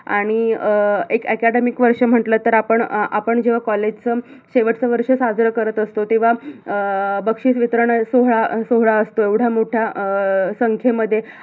आणि एक acadmic वर्ष म्हटल तर आपण अं आपण जेव्हा college च शेवटच वर्ष साजर करत असतो तेव्हा अं बक्षीस वितरण सोहळा सोहळा असतो एवढ्या मोठ्या संख्येमध्ये